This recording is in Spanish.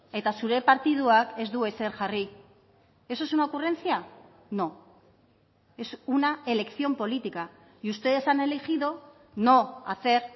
eta zure partiduak ez du ezer jarri eso es una ocurrencia no es una elección política y ustedes han elegido no hacer